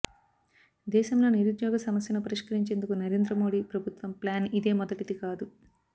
దేశంలో నిరుద్యోగ సమస్యను పరిష్కరించేందుకు నరేంద్ర మోడీ ప్రభుత్వం ప్లాన్ ఇదే మొదటిది కాదు